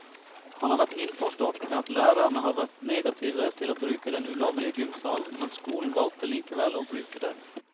Han har vært innforstått med at lærerne har vært negative til å bruke den ulovlige gymsalen, men skolen valgte likevel å bruke den.